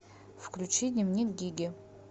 включи дневник гиги